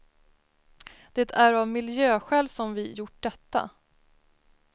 Det är av miljöskäl som vi gjort detta.